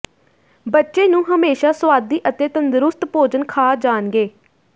ਬੱਚੇ ਨੂੰ ਹਮੇਸ਼ਾ ਸੁਆਦੀ ਅਤੇ ਤੰਦਰੁਸਤ ਭੋਜਨ ਖਾ ਜਾਣਗੇ